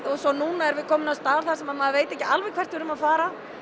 og svo núna erum við komin á stað þar sem maður veit ekki alveg hvert við erum að fara